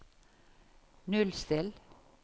nullstill